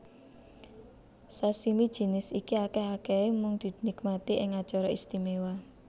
Sashimi jinis iki akèh akèhé mung dinikmati ing acara istimewa